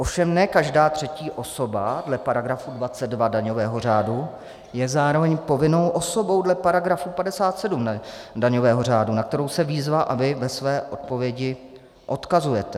Ovšem ne každá třetí osoba dle § 22 daňového řádu je zároveň povinnou osobou dle § 57 daňového řádu, na kterou se výzva a vy ve své odpovědi odkazujete.